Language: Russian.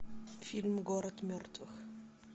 фильм город мертвых